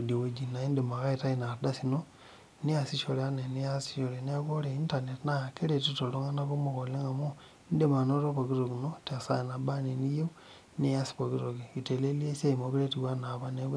idie wueji neeku indiim ake aitayu inaardaai niasishore neeku ore internet naa keretito iltung'anak kumok oleng amu indiim anoto pookin toki ino tesaa nabaanaa eniyieu nias pooki toki eitelelia esia meekure etiu enaa apa